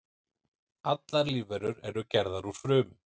Allar lífverur eru gerðar úr frumum.